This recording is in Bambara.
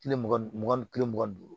Kile mugan ni mugan ni kelen mugan duuru